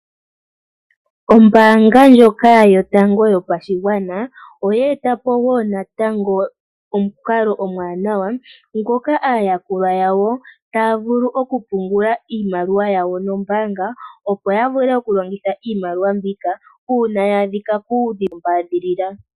Ombanga lyoka yotango yopashigwana oye etapo wo natango omukalo omuwanawa ngoka aayakulwa yawo taya vulu oku pungula iimaliwa yawo nombanga, opo ya vule oku longitha iimaliwa mbika una ya adhika kuudhigu wombadhilil.